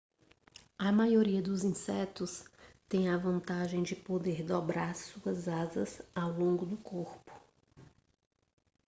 a maioria dos insetos têm a vantagem de poder dobrar suas asas ao longo do corpo